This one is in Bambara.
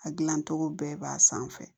A gilancogo bɛɛ b'a sanfɛ